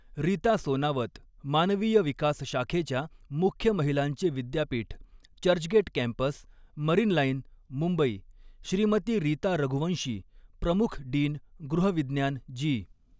रीता सोनावत मानवीय विकास शाखेच्या मुख्य महिलांचे विद्यापीठ चर्चगेट कॅम्पस मरीन लाईन मुंबइ श्रीमती रीता रघुवंशी प्रमुख डीन गृह विज्ञान जी.